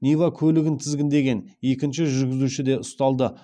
нива көлігін тізгіндеген екінші жүргізуші де ұсталды